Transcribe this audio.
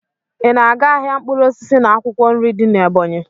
Ị na-aga ahịa mkpụrụ osisi na akwụkwọ nri dị n'Ebonyị?